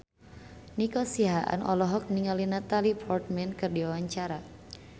Nico Siahaan olohok ningali Natalie Portman keur diwawancara